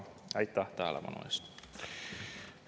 Aitäh tähelepanu eest!